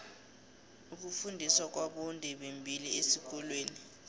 ukufundiswa kwabondebembili esikolweni